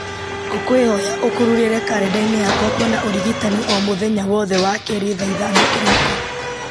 ngũkwĩhoya ũkururĩre karenda-inĩ yakwa kwĩna ũrigitani o mũthenya wothe wakerĩ thaa ithano kĩroko